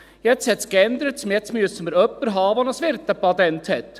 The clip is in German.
Jetzt hat es geändert, jetzt müssen wir jemanden haben, der ein Wirtepatent hat.